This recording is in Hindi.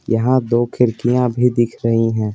यहाँ दो खिड़कियाँ भी दिख रही हैं।